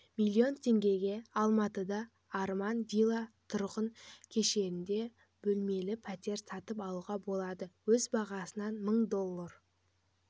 миллион теңгеге алматыда арман вилла тұрғынү кешенінде бөлмелі пәтер сатып алуға болады өз бағасынан мың доллар